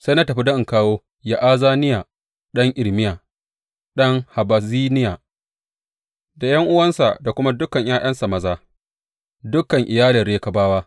Sai na tafi don in kawo Ya’azaniya ɗan Irmiya, ɗan Habazziniya, da ’yan’uwansa da kuma dukan ’ya’yansa maza, dukan iyalin Rekabawa.